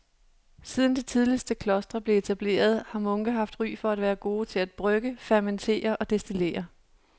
Siden de tidligste klostre blev etableret har munke haft ry for at være gode til at brygge, fermentere og destillere.